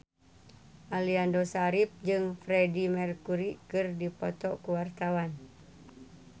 Aliando Syarif jeung Freedie Mercury keur dipoto ku wartawan